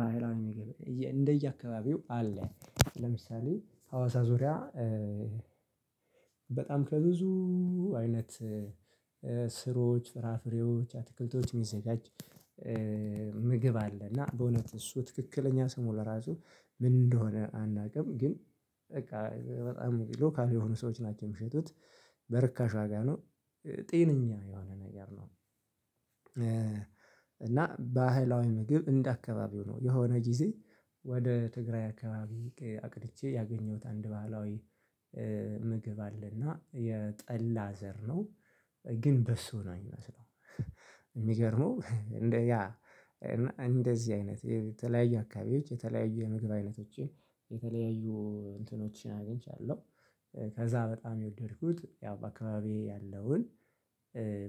ባህላዊ ምግቤ እንደየአካባቢው አለ። ለምሳሌ ሀዋሳ ዙሪያ በጣም ከብዙ አይነት ስሮች ፍራፍሬዎች አትክልቶች የሚዘጋጅ ምግብ አለ። እና በእውነት እሱ ትክክለኛ ስሙ ለራሱ ምን እንደሆነ አናውቅም። ግን በቃ በጣም ሎካል የሆኑ ሰዎች ናቸው የሚሸጡት በርካሽ ዋጋ ነው። ጤነኛ የሆነ ነገር ነው። እና ባህላዊ ምግብ እንደ አከባቢው ነው የሆነ ጊዜ ወደ ትግራይ አከባቢ አቅድቼ ያገኘሁት አንድ ባህላዊ ምግብ አለና የጠላ ዘር ነው። ግን በሶ ነው የሚመስለው የሚገርመው እንደ እንደዚህ አይነት የተለያዩ አካባቢዎች የተለያዩ የምግብ አይነቶችን የተለያዩ እንትኖች አግኝቻለሁ። ከዛ በጣም የወደድኩት ያው በአካባቢዬ ያለውን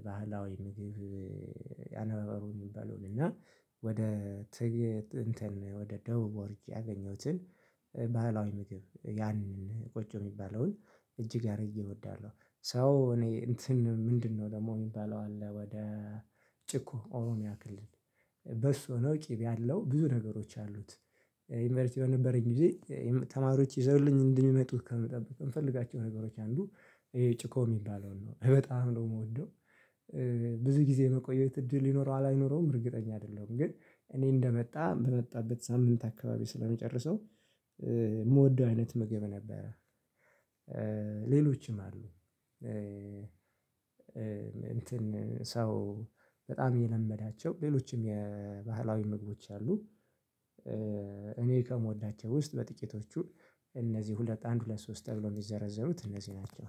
ባህላዊ ምግብ አነባበሩ የሚባለውን እና ወደ ትግ እንትን ወደ ደቡብ ወርጄ ያገኘሁትን ባህላዊ ምግብ ያን ቆጮ የሚባለውን እጅግ አድርጌ እወዳለሁ። ሰው እኔ እንትን ምንድነው? ደግሞ የሚባለው አለ ወደ ጭቆ ኦሮምያ ክልል በሶ ሆኖ ቅቤ ያለው ብዙ ነገሮች ያሉት ዩኒቨርሲቲ በነበረኝ ጊዜ ተማሪዎች ይዘውልኝ እንደሚመጡ ከምጠብቅ ከምፈልጋቸው ነገሮች አንዱ ይሄ ጭኮ የሚባለውን ነው በጣም ነው የምወደው። ብዙ ጊዜ መቆየት እድል ይኖረዋል አይኖረውም እርግጠኛ አይደለሁም። ግን እኔ እንደመጣ በመጣበት ሳምንት አካባቢ ስለምጨረሰው የምወደው አይነት ምግብ ነበረ። ሌሎችም አሉ። እንትን ሰው በጣም እየለመዳቸው ሌሎችም የባህላዊ ምግቦች አሉ። እኔ ከምወዳቸው ውስጥ በጥቂቶቹ እነዚህ ሁለት አንድ ሁለት ሶስት ተብሎ የሚዘረዘሩት እነዚህ ናቸው።